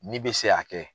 Ni bɛ se ka kɛ